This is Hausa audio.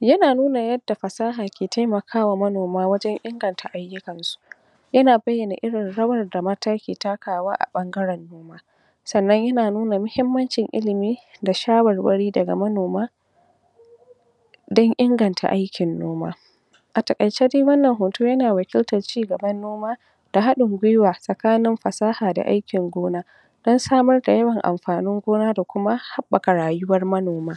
yana nuna yadda fasahar ke taimakawa manoma wajen inganta ayyukansu yana bayyana irin rawar da mata suke takawa a ɓanngaren noma sannan yana nuna mahimmancin ilimi da shawarwari daga manoma don inganta aikin noma a taƙaice dai wannan hoto yana wakiltar ci gaban noma da haɗin gwiwa tsakanin fasaha da aikin gona don samrda yawan amfanin gona da kuma haɓɓaka rayuwar manoma